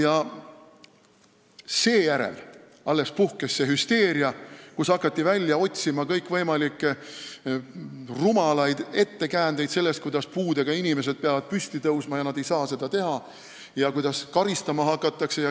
Alles seejärel puhkes hüsteeria ja hakati otsima kõikvõimalikke rumalaid ettekäändeid, näiteks kuidas puudega inimesed peavad hakkama püsti tõusma, aga nad ei saa seda teha, ja kuidas karistama hakatakse.